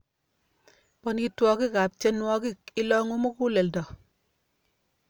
Bonitwokikab tienwokik, ilongu muguleldo